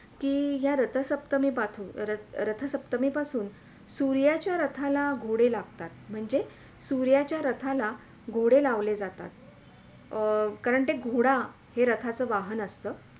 कि या रथसप्तमी पासून, रथसप्तमी पासून सूर्याच्या रथाला घोडे लागतात म्हणजे सूर्याच्या रथाला घोडे लावले जातात अं कारण ते घोडा हे रथाचा वाहन असतं